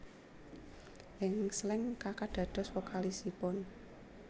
Ing Slank Kaka dados vokalisipun